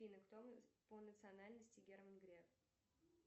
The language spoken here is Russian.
афина кто по национальности герман греф